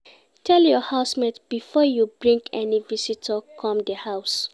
Tell your house mate before you bring any visitor come di house